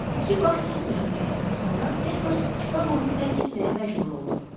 İki baş tutmayan qəstdən sonra Edvards Çikaqonu tərk etməyə məcbur oldu.